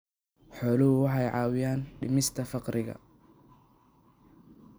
Xooluhu waxay caawiyaan dhimista faqriga.